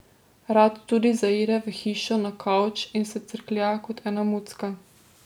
Rad tudi zaide v hišo na kavč in se crklja kot ena mucka.